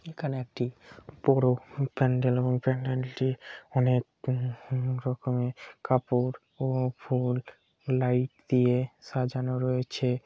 এখানে একটি বড় প্যান্ডেল এবং প্যান্ডেলটি অনেক রকমের কাপড় ও ফুল লাইট দিয়ে সাজানো রয়েছে।